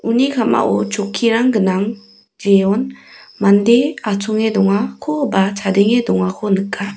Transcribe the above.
uni ka·mao chokkirang gnang jeon mande atchonge dongako ba chadenge dongako nika.